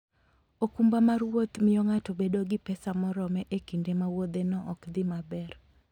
okumba mar wuoth miyo ng'ato bedo gi pesa morome e kinde ma wuodheno ok dhi maber.